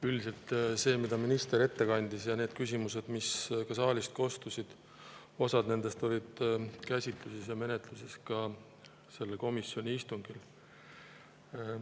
Üldiselt see, mida minister ette kandis, ja need küsimused, mis saalist kostsid – osa nendest –, olid käsitluses ja menetluses ka sellel komisjoni istungil.